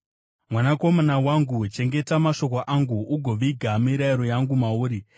Mwanakomana wangu, chengeta mashoko angu ugoviga mirayiro yangu mauri.